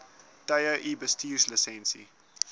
tye u bestuurslisensie